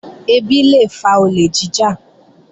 Ẹbí lé fa olè jíjà